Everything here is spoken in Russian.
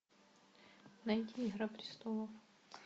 найди игра престолов